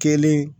Kelen